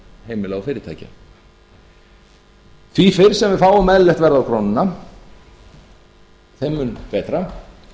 heimila og fyrirtækja því fyrr sem við fáum eðlilegt verð á krónuna þeim mun betra